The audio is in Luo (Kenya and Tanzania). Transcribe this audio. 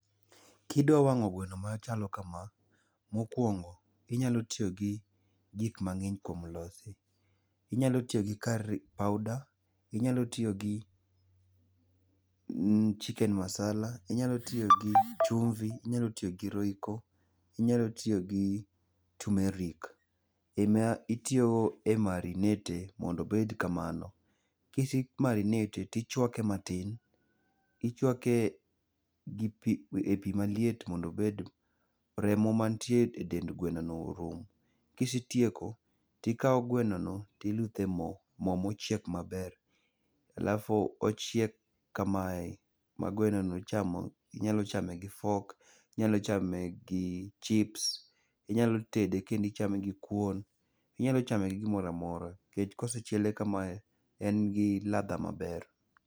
Kidwa wang'o gweno machalo kama, mokuongo inyalo tiyo gi gik mang'eny kuom lose. Inyalo tiyo gi curry powder, inyalo tiyo gi chicken masala, inyalo tiyo gi chumvi, inyalo tiyo gi royco. Inyalo tiyo gi tumeric[s]. E ma itiyo go e marinate e mondo obed kamano. Kise marinate e tichwake matin. Ichwake e pi maliet mondo obed, remo ma nitie e dend gweno no orum. Kisetieko, tikao gweno no tiluthe mo, mo mochiek maber. Alafu ochiek kamae ma gweno no ichamo. Inyalo chame gi fork. Inyalo chame gi chips. Inyalo tede kendo ichame gi kuon. Inyalo chame gi gimoro amora nikech kochiele kamae en gi ladha maber.